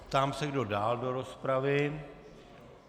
Ptám se, kdo dál do rozpravy.